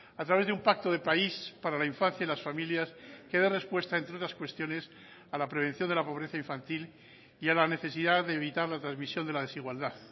a través de un pacto de país para la infancia y las familias que dé respuesta entre o tras cuestiones a la prevención de la pobreza infantil y a la necesidad de evitar la transmisión de la desigualdad